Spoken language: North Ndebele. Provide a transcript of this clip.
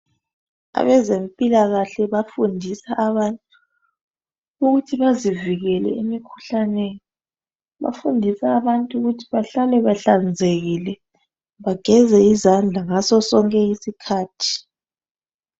Abezempilakahle bafundisa abantu ukuthi bezivikele imikhuhlane, bafundisa abantu ukuthi bahlale bahlanzekile, bageze izandla ngaso sonke iskhathi.